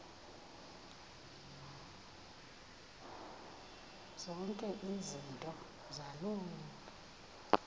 zonke izinto zaloo